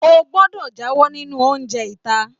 O gbọdọ jáwọ nínú oúnjẹ ita.